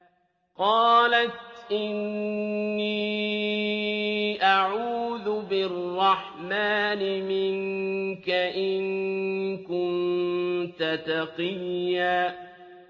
قَالَتْ إِنِّي أَعُوذُ بِالرَّحْمَٰنِ مِنكَ إِن كُنتَ تَقِيًّا